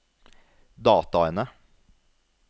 dataene